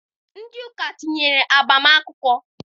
Ndị ụka tinyere agbam akwụkwọ